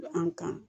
An kan